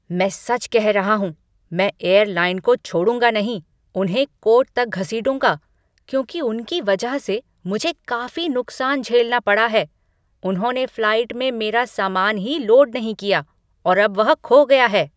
मैं सच कह रहा हूँ, मैं एयरलाइन को छोड़ूंगा नहीं, उन्हें कोर्ट तक घसीटूंगा, क्योंकि उनकी वजह से मुझे काफी नुकसान झेलना पड़ा है, उन्होंने फ्लाइट में मेरा सामान ही लोड नहीं किया और अब वह खो गया है।